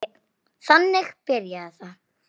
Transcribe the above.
Þannig byrjaði það.